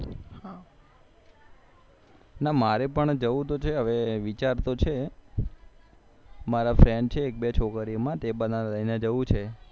ના મારે પણ જવું તો છે હવે વિચાર તો છે મારા friend છે તે એક બે બનાવે એટલે હવે જવું છે